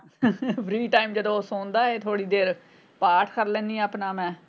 free time ਜਦੋਂ ਉਹ ਸੌਂਦਾ ਏ ਥੋੜੀ ਦੇਰ ਪਾਠ ਕਰ ਲੈਣੀ ਆਪਣਾ ਮੈਂ।